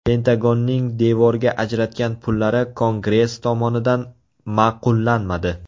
Pentagonning devorga ajratgan pullari Kongress tomonidan ma’qullanmadi.